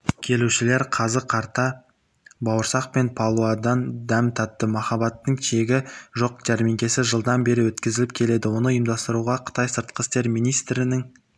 келушілер қазы-қарта бауырсақ пен палаудан дәм татты махаббаттың шегі жоқ жәрмеңкесі жылдан бері өткізіліп келеді оны ұйымдастыруға қытай сыртқы істер министрінің